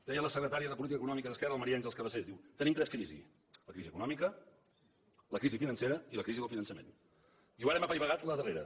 deia la secretària de política econòmica d’esquerra la maria àngels cabasés diu tenim tres crisis la crisi econòmica la crisi financera i la crisi del finançament diu ara hem apaivagat la darrera